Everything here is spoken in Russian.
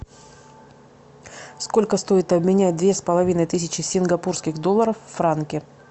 сколько стоит обменять две с половиной тысячи сингапурских долларов в франки